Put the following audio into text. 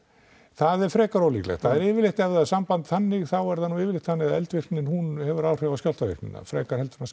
það er frekar ólíklegt það er yfirleitt ef það er samband þannig þá er það nú yfirleitt þannig að eldvirknin hún hefur áhrif á skjálftavirknina frekar en að